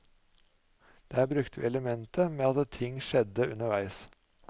Der brukte vi elementet med at ting skjedde underveis.